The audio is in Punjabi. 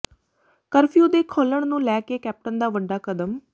ਕਰਫਿਊ ਦੇ ਖੋਲ੍ਹਣ ਨੂੰ ਲੈ ਕੇ ਕੈਪਟਨ ਦਾ ਵੱਡਾ ਕਦਮ